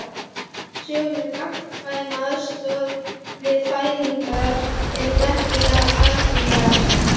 Sögur um gagnkvæma aðstoð við fæðingar eru merkilega algengar.